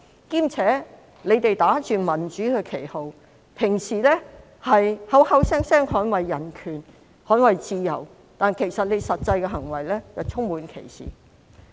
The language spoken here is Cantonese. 他們打着民主的旗號，向來口口聲聲說捍衞人權和自由，實際行為卻充滿歧視。